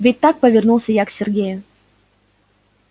ведь так повернулась я к сергею